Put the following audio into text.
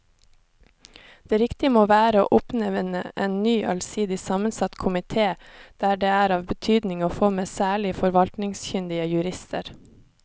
Det riktige må være å oppnevne en ny allsidig sammensatt komite der det er av betydning å få med særlig forvaltningskyndige jurister.